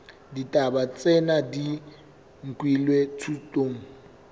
ditaba tsena di nkilwe thutong